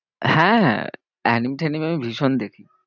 হ্যাঁ anim ট্যানিম আমি ভীষণ দেখি।